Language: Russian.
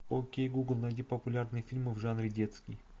окей гугл найди популярные фильмы в жанре детский